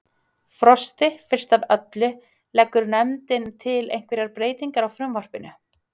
Frosti, fyrst af öllu, leggur nefndin til einhverjar breytingar á frumvarpinu?